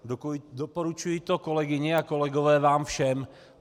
Doporučuji to, kolegyně a kolegové, vám všem.